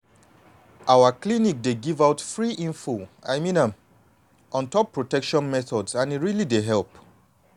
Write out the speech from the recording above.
our clinic dey give out free info i mean am on top protection methods and e really dey help.